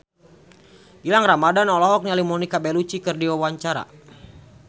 Gilang Ramadan olohok ningali Monica Belluci keur diwawancara